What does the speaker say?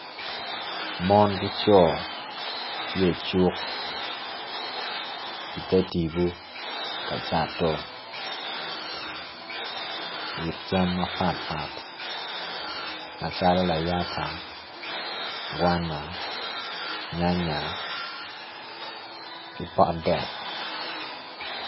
Mon ki co tye icuk ite tipo ka cato wit cam mapatpat macalo layata, gwana, nyanya ki pot dek.